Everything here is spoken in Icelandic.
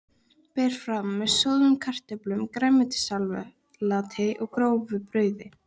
Berið fram með soðnum kartöflum, grænmetissalati og grófu brauði.